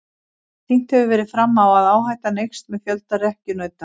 Sýnt hefur verið fram á að áhættan eykst með fjölda rekkjunauta.